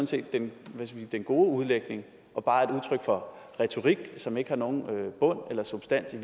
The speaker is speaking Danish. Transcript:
set den gode udlægning og bare et udtryk for retorik som ikke har nogen bund eller substans i